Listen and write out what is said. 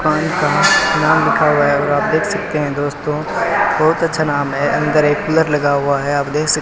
खान का नाम लिखा हुआ है और आप देख सकते हैं दोस्तों बहुत अच्छा नाम है अंदर एक कूलर लगा हुआ है आप देख --